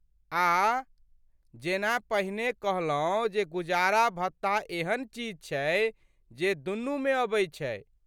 आऽऽऽ ... जेना पहिने कहलौं जे गुजारा भत्ता एहन चीज छै जे दुनूमे अबै छै।